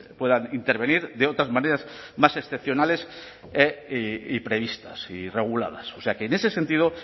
puedan intervenir de otras maneras más excepcionales y previstas y reguladas o sea que en ese sentido